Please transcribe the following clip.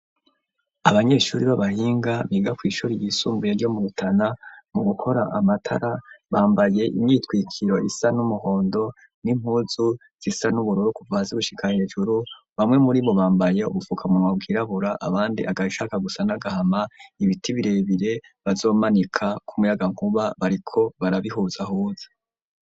Abanyeshuri b'abahinga biga kw'ishuri ryisumbuye ryo mu Rutana mu gukora amatara bambaye imyitwikiro isa n'umuhondo n'impuzu zisa n'ubururu kuva hasi gushika hejuru, bamwe muri bo bambaye ubufukamunwa bwirabura abandi agashaka gusa n'agahama, ibiti birebire bazomanikako umuyagankuba bariko barabihuzahuza.